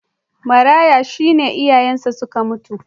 Maraya shi ne iyayensa suka mutu.